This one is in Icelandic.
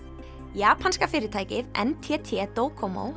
japanska fyrirtækið n t t